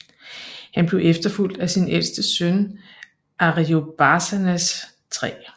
Han blev efterfulgt af sin ældste søn Ariobarzanes 3